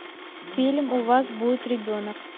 фильм у вас будет ребенок